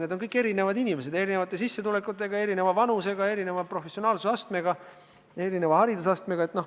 Nad on kõik erinevad inimesed, erinevate sissetulekutega, erineva vanusega, erineva professionaalsuse astmega, erineva haridusastmega.